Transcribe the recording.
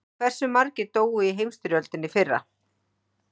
Hversu margir dóu í heimsstyrjöldinni fyrri?